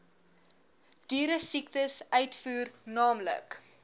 dieresiektes uitvoer naamlik